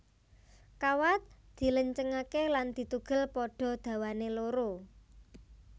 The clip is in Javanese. Kawat dilencengake lan ditugel padha dawané loro